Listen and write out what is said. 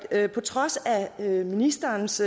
at jeg på trods af ministerens